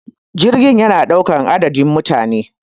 jirgi yana daukar adadin mutane